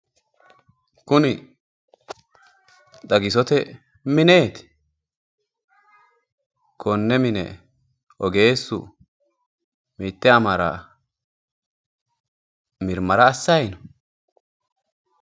Kuni xagisote mineeti? konne mine ogeessu mitte amara mirmara assayi no?